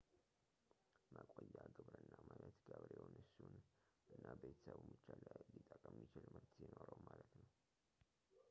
መቆያ ግብርና ማለት ገበሬውን እሱን እና ቤተሰቡን ብቻ ሊጠቅም የሚችል ምርት ሲኖረው ማለት ነው